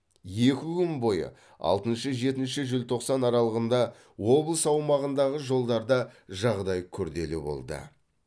екі күн бойы алтыншы жетінші желтоқсан аралығында облыс аумағындағы жолдарда жағдай күрделі болды